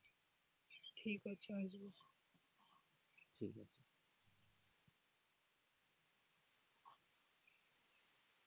ঠিক আছে আসবো,